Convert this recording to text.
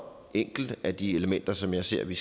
enkelte af de elementer som jeg ser vi